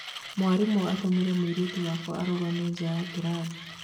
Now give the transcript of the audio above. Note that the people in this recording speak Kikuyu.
"Mwarimũ atũmirĩ mũirĩtu wakwa arũgame nja ya kĩrathi